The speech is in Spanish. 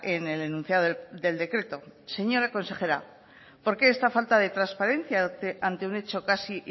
en el enunciado del decreto señora consejera por qué esta falta de transparencia ante un hecho casi